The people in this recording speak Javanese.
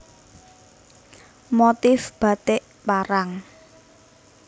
Motif Batik Parang